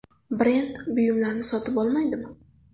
Brend buyumlarni sotib olmaydimi?